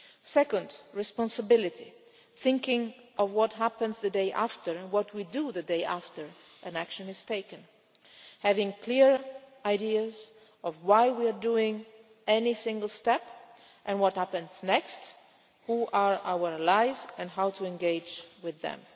Second responsibility thinking of what happens the day after and what we do the day after an action is taken. Having clear ideas of why we are taking any single step, what happens next, who are our allies and how we engage with them.